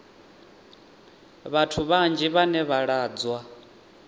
vhathu vhanzhi vhane vha lwadzwa